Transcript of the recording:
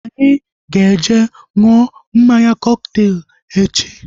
Anyị ga eje ṅụọ mmanya kọkteelu echi